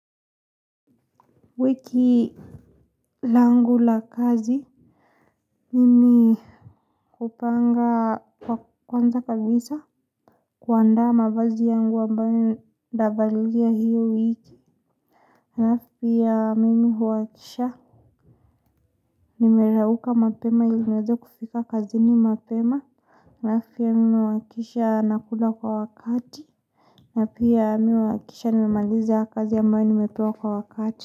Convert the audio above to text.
Wiki langu la kazi mimi hupanga kwa kwanza kabisa kuandaa mavazi yangu ambayo ntavalia hiyo wiki halafu pia mimi huhakikisha nimerauka mapema ili niweze kufika kazini mapema halafu pia mimi huhakikisha nakula kwa wakati na pia mimi huhakikisha nimemaliza kazi ambayo nimepewa kwa wakati.